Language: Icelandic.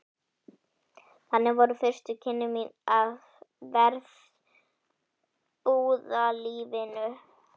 Þannig voru fyrstu kynni mín af verbúðalífinu.